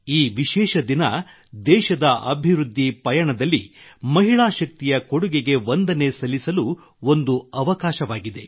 ಈ ವಿಶೇಷ ದಿನ ದೇಶದ ಅಭಿವೃದ್ಧಿ ಪಯಣದಲ್ಲಿ ಮಹಿಳಾ ಶಕ್ತಿಯ ಕೊಡುಗೆಗೆ ವಂದನೆ ಸಲ್ಲಿಸಲು ಒಂದು ಅವಕಾಶವಾಗಿದೆ